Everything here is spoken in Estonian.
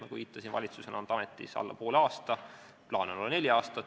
Nagu viitasin, valitsus on olnud ametis alla poole aasta, plaan on olla neli aastat.